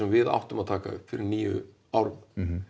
við áttum að taka upp fyrir níu árum